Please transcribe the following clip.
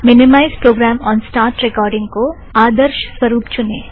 minimise programme on start recording को आदर्षस्वरुप चुने